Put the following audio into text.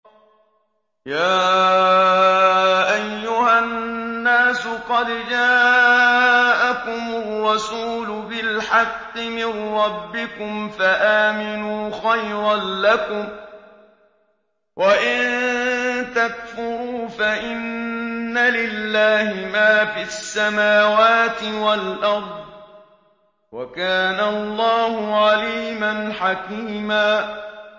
يَا أَيُّهَا النَّاسُ قَدْ جَاءَكُمُ الرَّسُولُ بِالْحَقِّ مِن رَّبِّكُمْ فَآمِنُوا خَيْرًا لَّكُمْ ۚ وَإِن تَكْفُرُوا فَإِنَّ لِلَّهِ مَا فِي السَّمَاوَاتِ وَالْأَرْضِ ۚ وَكَانَ اللَّهُ عَلِيمًا حَكِيمًا